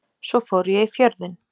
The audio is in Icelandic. Svo fór ég í Fjörðinn.